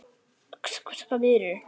Yxu víur